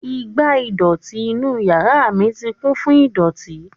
igbá ìdọ̀tí inú yàrá mi ti kún fún ìdọ̀tí